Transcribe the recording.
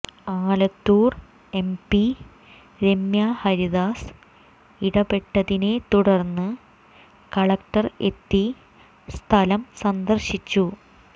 Alathur MP Ramya Haridas ഇടപെട്ടതിനെ തുടർന്ന് collector എത്തി സ്ഥലം സന്ദർശിച്ചു